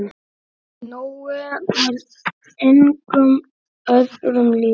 Nói var engum öðrum líkur.